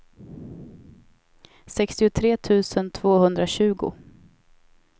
sextiotre tusen tvåhundratjugo